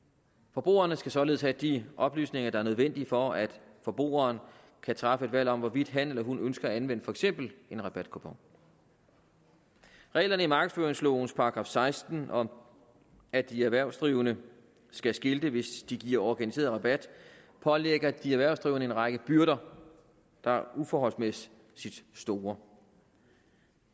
forbrugeren skal således have de oplysninger der er nødvendige for at forbrugeren kan træffe et valg om hvorvidt han eller hun ønsker at anvende for eksempel en rabatkupon reglerne i markedsføringslovens § seksten om at de erhvervsdrivende skal skilte hvis de giver organiseret rabat pålægger de erhvervsdrivende en række byrder der er uforholdsmæssig store